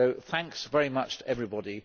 So thanks very much to everybody.